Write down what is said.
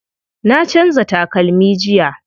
Na canza takalmi jiya.